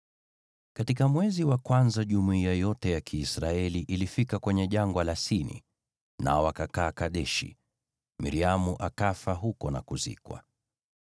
Katika mwezi wa kwanza jumuiya yote ya Kiisraeli ilifika kwenye Jangwa la Sini, nao wakakaa Kadeshi. Miriamu akafa huko na kuzikwa.